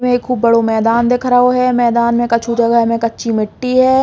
ये मैदान दिख रहा है। मैदान में कछु जगह में कच्ची मिट्टी ए ।